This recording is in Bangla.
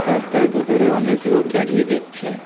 রাস্তার দু'ধারে অনেক লোক দাঁড়িয়ে দেখছে.